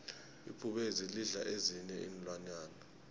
ibhubezi lidla ezinyei iinlwanyana